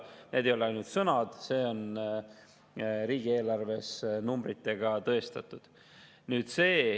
Need ei ole ainult sõnad, see on riigieelarves numbritega tõestatud.